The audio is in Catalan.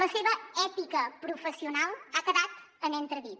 la seva ètica professional ha quedat en entredit